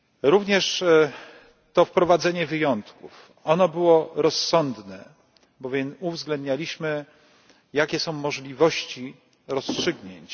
Również to wprowadzenie wyjątków ono było rozsądne, bowiem uwzględnialiśmy jakie są możliwości rozstrzygnięć.